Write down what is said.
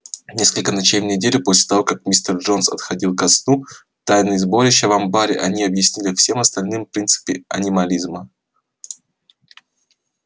несколько ночей в неделю после того как мистер джонс отходил ко сну на тайных сборищах в амбаре они объясняли всем остальным принципы анимализма